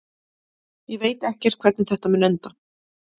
Ég veit ekki hvernig þetta mun enda.